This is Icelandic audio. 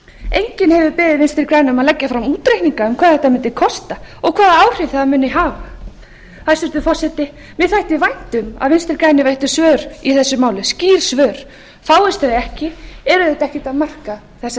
enginn hefur beðið v g um að leggja fram útreikninga um hvað þetta mundi kosta og hvaða áhrif það mundi hafa hæstvirtur forseti mér þætti vænt um að vinstri grænir veittu skýr svör í þessu máli fáist þau ekki er auðvitað ekkert að marka þessar